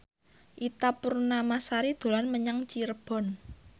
Ita Purnamasari dolan menyang Cirebon